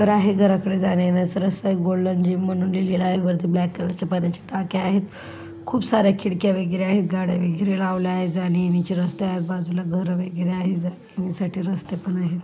घर आहे घराकडे जाण्या-येण्याचा रस्ता आहे एक गोल्डन जिम म्हणून लिहलेल आहे. वरती ब्लैक कलर ची पाण्याचे टाक्या आहेत खूप सार्‍या खिडक्या वगैरा आहेत गाड्या वगैरे लावला आहे जाण्या-येण्याची रस्ता आहे. बाजूला घर वगैरे आहे जाण्या-येण्यासाठी रस्ते पण आहेत.